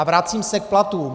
A vracím se k platům.